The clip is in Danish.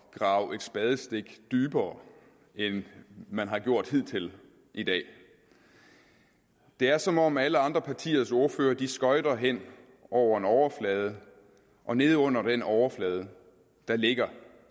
grave et spadestik dybere end det man har gjort hidtil i dag det er som om alle andre partiers ordførere skøjter hen over en overflade og nede under den overflade ligger